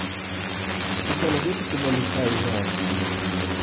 у тебя найдется кино лиса и заяц